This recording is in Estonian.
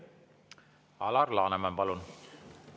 Alar Laneman, palun!